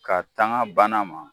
Ka tanga banna ma